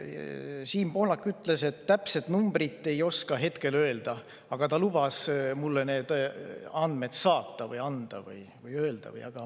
Siim Pohlak ütles, et täpset numbrit ta ei oska hetkel öelda, aga ta lubas mulle need andmed saata või anda või öelda või …